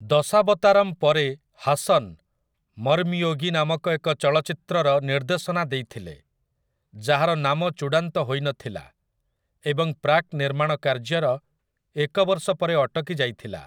ଦଶାବତାରମ୍ ପରେ ହାସନ୍ 'ମର୍ମୟୋଗୀ' ନାମକ ଏକ ଚଳଚ୍ଚିତ୍ରର ନିର୍ଦ୍ଦେଶନା ଦେଇଥିଲେ, ଯାହାର ନାମ ଚୂଡ଼ାନ୍ତ ହୋଇ ନଥିଲା ଏବଂ ପ୍ରାକ୍‌ନିର୍ମାଣ କାର୍ଯ୍ୟର ଏକ ବର୍ଷ ପରେ ଅଟକି ଯାଇଥିଲା ।